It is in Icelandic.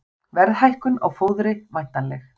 Verðhækkun á fóðri væntanleg